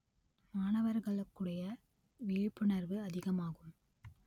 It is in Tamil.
மாணவர்களுக்குடைய விழிப்புணர்வு அதிகமாகும்